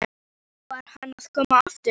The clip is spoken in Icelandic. Og nú var hann að koma aftur!